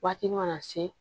Waati mana se